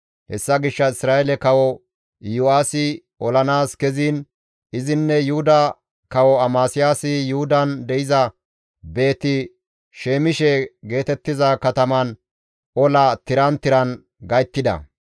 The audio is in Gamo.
Hessa gishshas Isra7eele kawo Iyo7aasi olanaas keziin izinne Yuhuda Kawo Amasiyaasi Yuhudan de7iza Beeti-Shemishe geetettiza kataman ola tiran tiran gayttida.